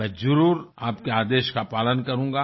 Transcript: मैं जरुर आपके आदेश का पालन करूँगा